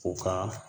U ka